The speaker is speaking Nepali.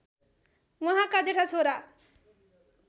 उहाँका जेठा छोरा